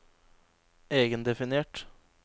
egendefinert